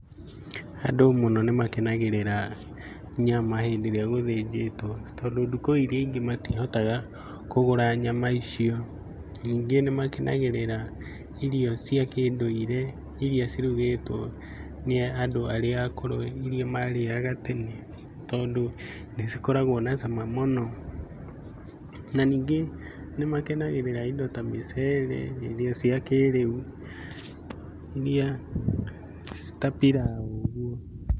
Andũ mũno nĩ makenagĩrĩra, nyama hĩndĩ ĩrĩa gũthĩnjĩtwo, tondũ ndukũ iria ingĩ matihotaga kũgũra nyama icio. Ningĩ nĩ makenagĩrĩea, irio cia kĩndũire iria cirũgĩtwo nĩ andũ arĩa akũrũ iria marĩaga tene tondũ, nĩ cikoragwo na cama mũno. Na ningĩ, nĩ makenagĩrĩra indo ta mĩcere na irio cia kĩrĩu, iria, ta piraũ ũguo.